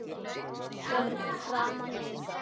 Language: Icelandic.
Fyrir framan inngang